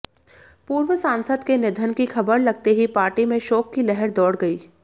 पूर्व सांसद के निधन की खबर लगते ही पार्टी में शोक की लहर दौड़ गई